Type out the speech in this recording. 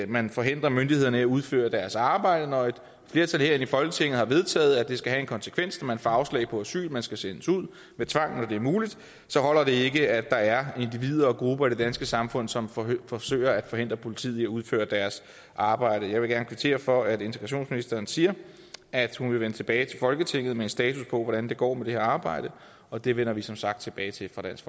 man forhindrer myndighederne i at udføre deres arbejde når et flertal herinde i folketinget har vedtaget at det skal have en konsekvens når man får afslag på asyl man skal sendes ud med tvang når det muligt så holder det ikke at der er individer og grupper i det danske samfund som forsøger at forhindre politiet i at udføre deres arbejde jeg vil gerne kvittere for at integrationsministeren siger at hun vil vende tilbage til folketinget med en status på hvordan det går med det her arbejde og det vender vi som sagt tilbage til fra dansk